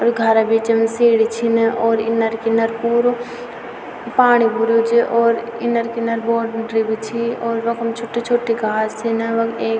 अर यु घार बीचम सीड़ी छिन और इनर-किनर पुरु पाणी भुर्युं च और इनर-किनर बहौत गुठरी भी छी और वखम छुटी-छुटी घास छिन वख एक --